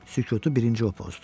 Sükutu birinci o pozdu.